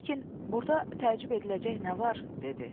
Burkin: “Burda təəccüb ediləcək nə var?” dedi.